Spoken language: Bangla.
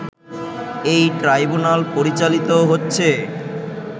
এই ট্রাইব্যুনাল পরিচালিত হচ্ছে